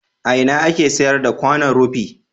A ina ake sayar da kwanon rufi?